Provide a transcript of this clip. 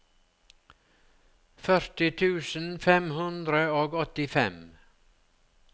førti tusen fem hundre og åttifem